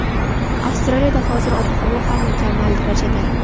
Avstraliyada hozir ob-havo ham mukammal darajada”.